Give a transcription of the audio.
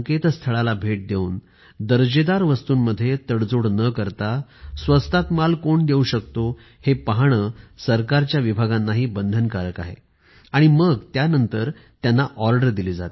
सरकारी विभागांना सक्तीचे आहे कि त्यांनी या पोर्टलला भेट द्यावी जाणून घ्यायला पाहिजे की कोणते पुरवठादार असे आहेत जे वस्तू दर्जाशी तडजोड न करता स्वस्त दर अवलंबितो